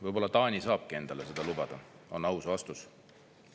Võib-olla Taani saabki endale seda lubada, on aus vastus.